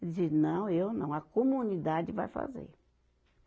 Ele disse, não, eu não, a comunidade vai fazer.